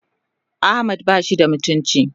Ahmad bashi da mutunci.